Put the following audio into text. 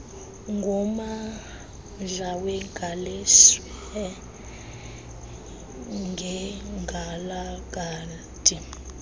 ngommandla wegaleshewe nekgalagadi